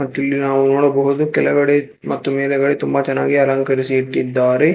ಇಲ್ಲಿ ನಾವು ನೋಡಬಹುದು ಕೆಳಗಡೆ ಮತ್ತು ಮೇಲೆಗಡೆ ತುಂಬ ಚೆನ್ನಾಗಿ ಅಲಂಕರಿಸಿ ಇಟ್ಟಿದ್ದಾರೆ.